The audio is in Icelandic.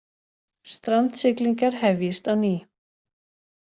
Strandsiglingar hefjist á ný